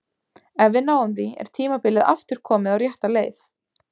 Ef við náum því er tímabilið aftur komið á rétta leið.